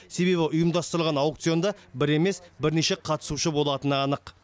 себебі ұйымдастырылған аукционда бір емес бірнеше қатысушы болатыны анық